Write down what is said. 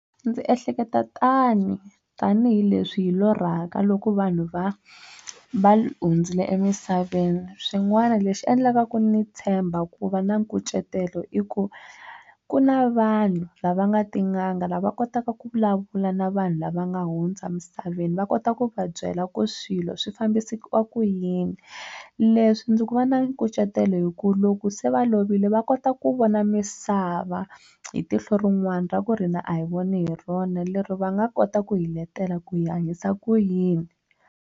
Ndzi ehleketa tani tanihileswi hi lorhaka loko vanhu va va hundzile emisaveni swin'wana lexi endlaka ku ni tshemba ku va na nkucetelo i ku ku na vanhu lava nga tin'anga lava kotaka ku vulavula na vanhu lava nga hundza emisaveni va kota ku va byela ku swilo swi fambisiwa ku yini leswi ndzi ku va na nkucetelo hi ku loko se va lovile va kota ku vona misava hi tihlo rin'wana ra ku hina a hi voni hi rona lero va nga kota ku hi letela ku hi hanyisa ku yini.